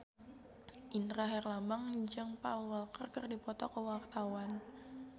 Indra Herlambang jeung Paul Walker keur dipoto ku wartawan